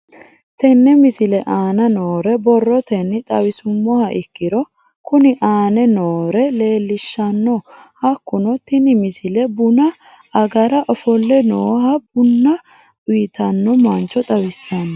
Tenne misile aana noore borrotenni xawisummoha ikirro kunni aane noore leelishano. Hakunno tinni misile buna agara ofolle noohana bunna uyitanno mancho xawissanno.